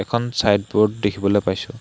এখন side board দেখিবলৈ পাইছোঁ।